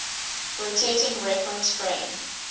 rotating reference frame